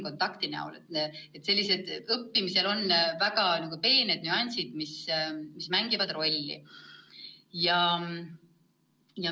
Õppimisel mängivad rolli väga peened nüansid.